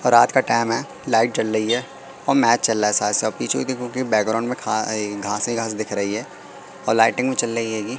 और रात का टाइम है लाइट जल रही है और मैच चल रहा है साथ साथ पीछे में देखो कि बैकग्राउंड में खा ई घास ही घास दिख रही है और लाइटिंग भी चल नहीं रही--